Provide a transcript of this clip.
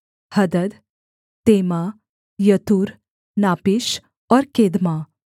हदद तेमा यतूर नापीश और केदमा